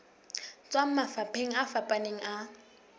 tswang mafapheng a fapaneng a